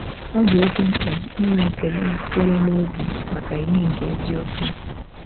Ọ dị oké mkpa inwe ekele sitere n’obi maka ìhè nke eziokwu.